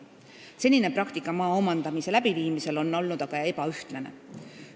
Senine praktika maa omandamisel on olnud aga ebaühtlane.